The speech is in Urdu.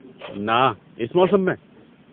ناں، اس موسم میں؟